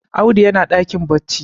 Audu yana dakin bacci